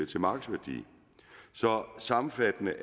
til markedsværdien sammenfattende